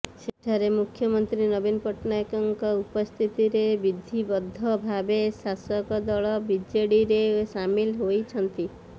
ସେଠାରେ ମୁଖ୍ୟମନ୍ତ୍ରୀ ନବୀନ ପଟ୍ଟନାୟକଙ୍କ ଉପସ୍ଥିତିରେ ବିଧିବଦ୍ଧ ଭାବେ ଶାସକ ଦଳ ବିଜେଡିରେ ସାମିଲ ହୋଇଛନ୍ତି